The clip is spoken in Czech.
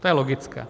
To je logické.